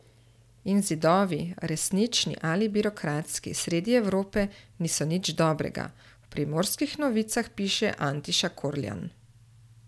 In zidovi, resnični ali birokratski, sredi Evrope niso nič dobrega, v Primorskih novicah piše Antiša Korljan.